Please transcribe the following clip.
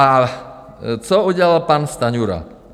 A co udělal pan Stanjura?